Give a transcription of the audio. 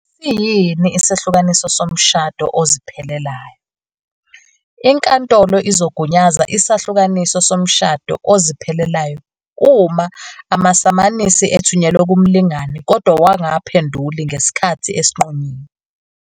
Siyini isahlukaniso somshado oziphelelayo? Inkantolo izogunyaza isahlukaniso somshado oziphelelayo uma amasamanisi ethunyelwe kumlingani kodwa wangaphenduli ngesikhathi esinqunyiwe.